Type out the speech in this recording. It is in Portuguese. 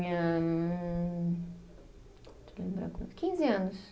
Hum, deixa eu lembrar quanto. Quinze anos.